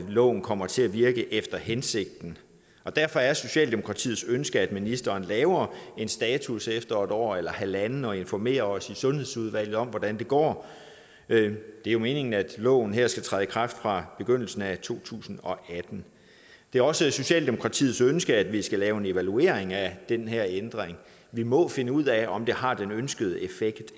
loven kommer til at virke efter hensigten derfor er socialdemokratiets ønske at ministeren laver en status efter et år eller halvandet og informerer os i sundhedsudvalget om hvordan det går det er jo meningen at loven her skal træde i kraft fra begyndelsen af to tusind og atten det er også socialdemokratiets ønske at vi skal lave en evaluering af den her ændring vi må finde ud af om det har den ønskede effekt